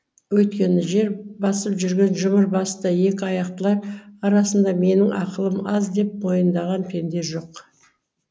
өйткені жер басып жүрген жұмыр басты екі аяқтылар арасында менің ақылым аз деп мойындаған пенде жоқ